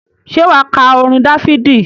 Ṣé wà á ka orin Dáfídì?